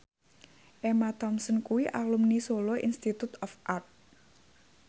Emma Thompson kuwi alumni Solo Institute of Art